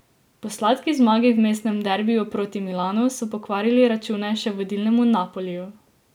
Po sladki zmagi v mestnem derbiju prot Milanu so pokvarili račune še vodilnemu Napoliju.